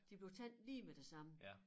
De blev taget lige med det samme